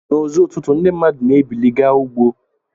Na uzo ụtụtụ ndi mmadu na ebili ga ugbo.